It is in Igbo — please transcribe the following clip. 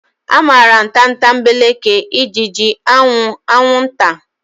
Amaara m tatambeleke, ijiji, anwụ, anwunta.